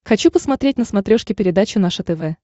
хочу посмотреть на смотрешке передачу наше тв